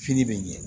Fini bɛ ɲɛ